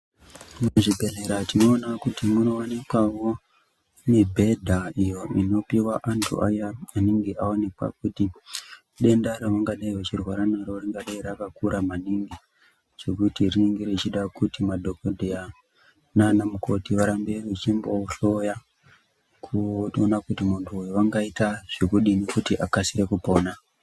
Muzvibhehleya tinogona munowanikwa mibhedha iyo inopiwa vandu vayani vanenge vakaonekwa kuti denda raunga dai wechirwra naro rinenge richidha kuti madhokodheya naana mukoti kuti varambe vechombo kuhloya kutoona muntu uyu angaita zvekudini kuti akasire kupona.